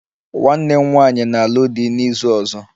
Nwanne m nwanyị na-alụ di n'izu ọzọ